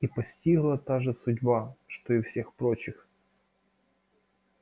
их постигла та же судьба что и всех прочих